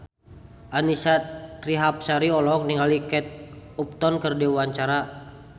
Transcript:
Annisa Trihapsari olohok ningali Kate Upton keur diwawancara